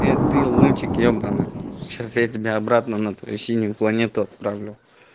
ты лунтик ебанный сейчас я тебя обратно на ту синюю планету отправлю